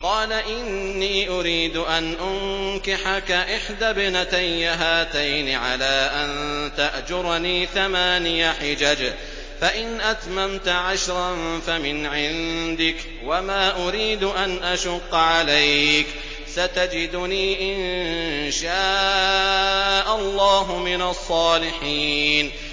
قَالَ إِنِّي أُرِيدُ أَنْ أُنكِحَكَ إِحْدَى ابْنَتَيَّ هَاتَيْنِ عَلَىٰ أَن تَأْجُرَنِي ثَمَانِيَ حِجَجٍ ۖ فَإِنْ أَتْمَمْتَ عَشْرًا فَمِنْ عِندِكَ ۖ وَمَا أُرِيدُ أَنْ أَشُقَّ عَلَيْكَ ۚ سَتَجِدُنِي إِن شَاءَ اللَّهُ مِنَ الصَّالِحِينَ